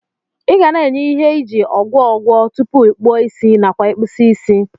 Igana enye ihe iji ogwọgwọ tupu ikpụọ isi nakwa ikpụsie isi.